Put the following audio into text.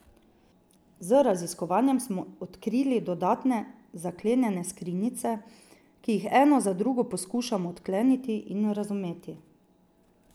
Z raziskovanjem smo odkrili dodatne zaklenjene skrinjice, ki jih eno za drugo poskušamo odkleniti in razumeti.